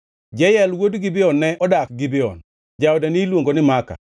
Jeyel wuon Gibeon ne odak Gibeon. Jaode niluongo ni Maaka,